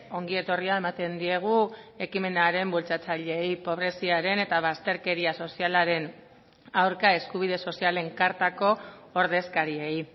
ongietorria ematen diegu ekimenaren bultzatzaileei pobreziaren eta bazterkeria sozialaren aurka eskubide sozialen kartako ordezkariei